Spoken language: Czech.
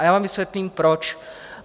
A já vám vysvětlím proč.